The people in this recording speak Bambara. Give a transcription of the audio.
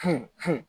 Fin fin